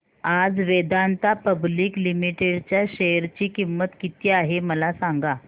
आज Vedanta public limited च्या share ची किंमत किती आहे मला सांगा